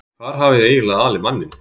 Hvar hafiði eiginlega alið manninn?